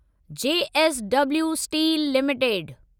JSW steel limited